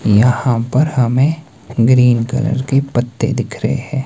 यहां पर हमें ग्रीन कलर के पत्ते दिख रहे है।